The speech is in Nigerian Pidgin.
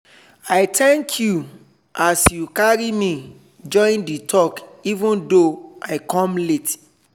i thank you as you carry me join the talk even though i come late.